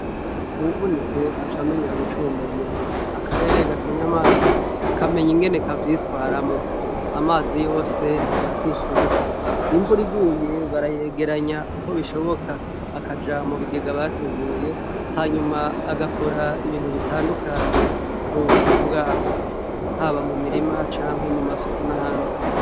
Uwuvunitse acamenya gucumbagira, akarere gakeny' amazi kameny' ingene kavyitwaramwo, amazi yose ntibayapfish' ubusa, imvur'iguye barayegerany' ukobishobok' akaja mubigega bateguye, hanyum' agakor' ibintu bitandukanye mu buzima bwabo, haba mumirima canke mu masuku n' ahandi.